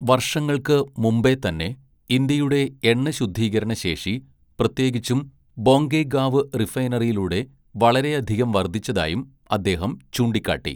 "വര്‍ഷങ്ങള്‍ക്ക് മുമ്പേ തന്നെ, ഇന്ത്യയുടെ എണ്ണശുദ്ധീകരണ ശേഷി, പ്രത്യേകിച്ചും ബൊംഗൈഗാവ് റിഫൈനറിയിലുടെ വളരെയധികം വര്‍ധിച്ചതായും അദ്ദേഹം ചൂണ്ടിക്കാട്ടി. "